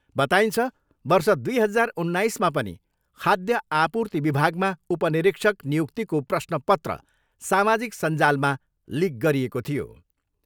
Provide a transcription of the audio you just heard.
बताइन्छ, वर्ष दुई हजार उन्नाइसमा पनि खाद्य आपूर्ति विभागमा उप निरीक्षक नियुक्तिको प्रश्न पत्र सामाजिक सञ्जालमा लिक गरिएको थियो।